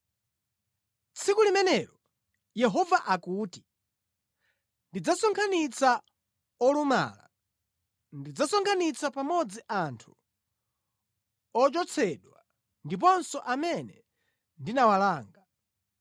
“Tsiku limenelo, Yehova akuti, “ndidzasonkhanitsa olumala; ndidzasonkhanitsa pamodzi anthu ochotsedwa ndiponso amene ndinawalanga.